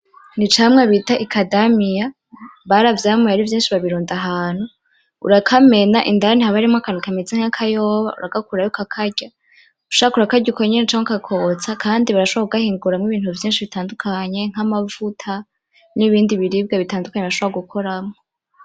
Ni icamwa bita Ikadamia, baravyamuye ari vyinshi babirunda ahantu. Urakamena indani haba harimwo akantu kameze nk’akayoba, uragakuramwo ukakarye. Ushatse urakarya uko nyene canke ukakotsa, kandi barashobora kugahinguramo ibintu vyinshi bitandukanye nk’amavuta n’ibindi biribwa bitandukanye bashobora gukoramo.